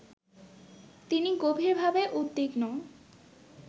তিনি গভীরভাবে উদ্বিগ্ন